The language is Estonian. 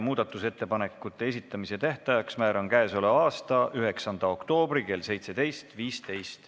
Muudatusettepanekute esitamise tähtajaks määran k.a 9. oktoobri kell 17.15.